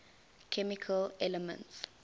chemical elements